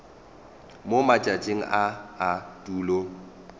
mo matšatšing a a tulo